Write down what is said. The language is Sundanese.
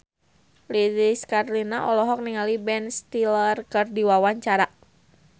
Lilis Karlina olohok ningali Ben Stiller keur diwawancara